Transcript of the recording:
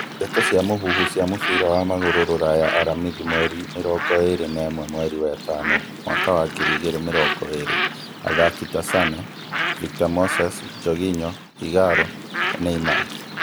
Ndeto cia mũhuhu cia mũbira wa magũrũ Rũraya aramithi mweri mĩrongo ĩrĩ na ĩmwe mweri wa ĩtano mwaka wa ngiri igĩrĩ mĩrongo ĩrĩ athaki ta Sane, Victor Moses, Jorginho, Ighalo, Neymar